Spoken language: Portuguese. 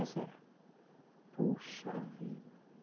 Isso é. Puxa vida.